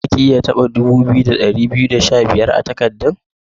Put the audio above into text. Zaki iya taba dubu biyu, da dari biyu da sha biyar a'takadan?